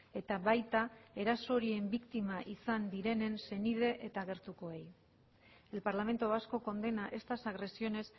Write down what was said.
eta baita eraso horien biktima izan direnen senide eta gertukoei el parlamento vasco condena estas agresiones